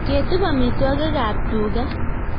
Ketup amitwogik ab tuga